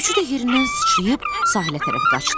Üçü də yerindən sıçrayıb sahilə tərəf qaçdı.